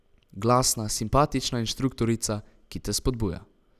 Glasna, simpatična inštruktorica, ki te spodbuja.